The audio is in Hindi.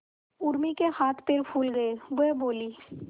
उर्मी के हाथ पैर फूल गए वह बोली